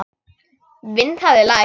Vind hafði lægt.